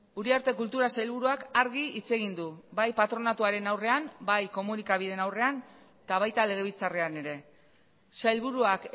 uriarte kultura sailburuak argi hitz egin du bai patronatuaren aurrean bai komunikabideen aurrean eta baita legebiltzarrean ere sailburuak